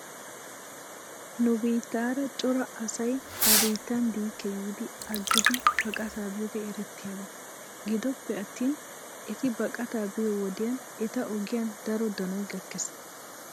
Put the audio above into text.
Nu biittaara cora asay ha biittan diike giidi agidi baqataa biyoogee erettiyaaba. Gidoppe attin eti baqataa biyoo wodiyan eta ogiyan daro danoy gakkes.